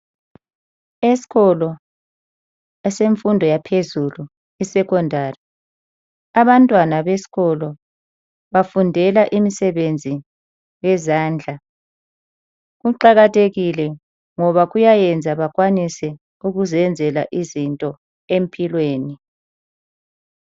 Esikolo esemfundo yaphezulu isecondary. Abantwana besikolo bafundela imisebenzi yezandla. Kuqakathekile ngoba kuyayenza bakwanise ukuzenzela izinto empilweni.